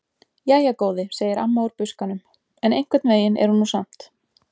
Jæja góði, segir amma úr buskanum: En einhvern veginn er hún nú samt.